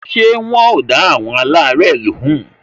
Ṣé wọn ò dá àwọn alare lóhùn?